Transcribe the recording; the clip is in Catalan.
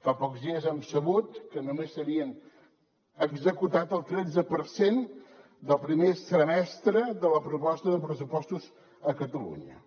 fa pocs dies hem sabut que només s’havia executat el tretze per cent del primer semestre de la proposta de pressupostos a catalunya